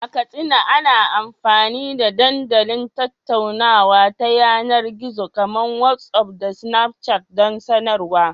A Katsina, ana amfani da dandalin tattaunawa ta yanar gizo kamar WhatsApp da Snapchat don sadarwa.